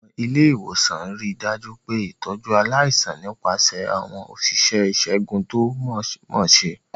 Àwọn ilé ìwòsàn rí i dájú pé ìtọ́jú aláìsàn nípasẹ̀ àwọn òṣìṣẹ́ ìṣègùn tó mọ̀ọ́mọṣẹ́.